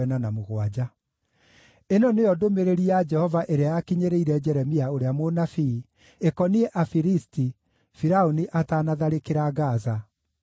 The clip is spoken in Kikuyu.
Ĩno nĩyo ndũmĩrĩri ya Jehova ĩrĩa yakinyĩrĩire Jeremia ũrĩa mũnabii, ĩkoniĩ andũ a Filisti, Firaũni atanatharĩkĩra Gaza: